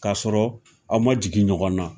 K'a sɔrɔ aw ma jigin ɲɔgɔn na